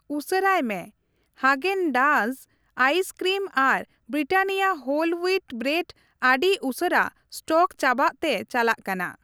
ᱩᱥᱟᱹᱨᱟᱭ ᱢᱮ, Haagen Dazs ice cream ᱟᱨ ᱵᱨᱤᱴᱟᱱᱤᱭᱟ ᱦᱳᱞ ᱦᱩᱣᱤᱴ ᱵᱨᱮᱰ ᱟᱹᱰᱤ ᱩᱥᱟᱹᱨᱟ ᱥᱴᱚᱠ ᱪᱟᱵᱟᱜ ᱛᱮ ᱪᱟᱞᱟᱜ ᱠᱟᱱᱟ ᱾